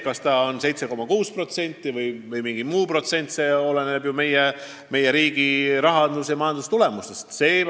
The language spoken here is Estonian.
Kas tegu on 7,6%-ga või mingi muu protsendiga, see oleneb meie riigi rahandus- ja majandustulemustest.